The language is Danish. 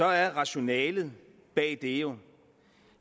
at rationalet bag det jo